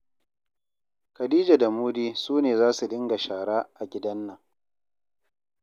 Khadija da Mudi su ne za su dinga shara a gidan nan.